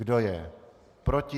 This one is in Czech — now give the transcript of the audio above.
Kdo je proti?